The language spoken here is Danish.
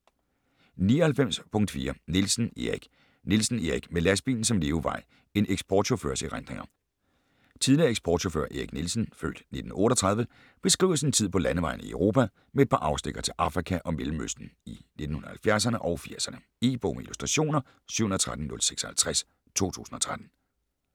99.4 Nielsen, Erik Nielsen, Erik: Med lastbilen som levevej: en eksportchaufførs erindringer Tidligere eksportchauffør Erik Nielsen (f. 1938) beskriver sin tid på landevejene i Europa, med et par afstikkere til Afrika og Mellemøsten, i 1970´erne og 80´erne. E-bog med illustrationer 713056 2013.